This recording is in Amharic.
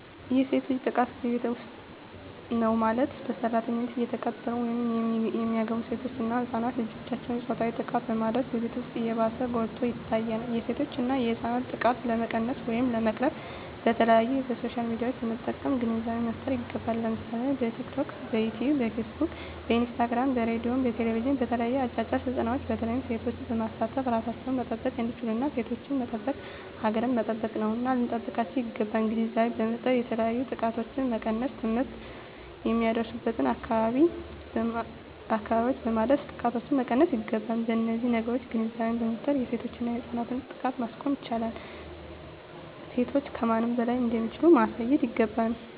የሴት ልጅ ጥቃት በቤት ዉስጥ ነዉ ማለትም በሰራተኛነት የተቀጠሩ ወይም የሚገቡሴቶች እና ህፃናት ልጆችን ፆታዊ ጥቃትን በማድረስ በቤት ዉስጥ ይባስ ጎልቶ ይታያል የሴቶችና የህፃናት ጥቃት ለመቀነስ ወይም ለመቅረፍ በተለያዩ በሶሻል ሚድያዎችን በመጠቀም ግንዛቤ መፍጠር ይገባል ለምሳሌ በቲክቶክ በዮትዮብ በፊስ ቡክ በኢንስታግራም በሬድዮ በቴሌብዥን በተለያዩ አጫጭር ስልጠናዎች በተለይ ሴቶችን በማሳተፍ እራሳቸዉን መጠበቅ እንዲችሉና ሴቶችን መጠበቅ ሀገርን መጠበቅ ነዉና ልንጠብቃቸዉ ይገባል ግንዛቤ በመፍጠር የተለያዮ ጥቃቶችን መቀነስ ትምህርት የማይደርሱበትን አካባቢዎች በማዳረስ ጥቃቶችን መቀነስ ይገባል በነዚህ ነገሮች ግንዛቤ በመፍጠር የሴቶችና የህፃናትን ጥቃት ማስቆም ይቻላል ሴቶች ከማንም በላይ እንደሚችሉ ማሳየት ይገባል